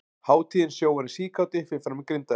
Hátíðin Sjóarinn síkáti fer fram í Grindavík.